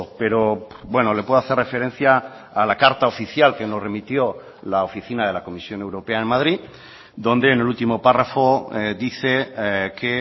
pero bueno le puedo hacer referencia a la carta oficial que nos remitió la oficina de la comisión europea en madrid donde en el último párrafo dice que